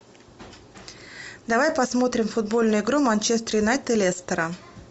давай посмторим футбольную игру манчестер юнайтед и лестера